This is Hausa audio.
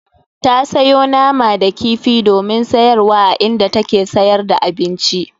Ta sayo nama da kifi domin sayarwa a inda take sayar da abinci.